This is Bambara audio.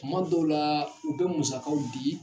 Kuma dɔw la u bɛ musakaw di.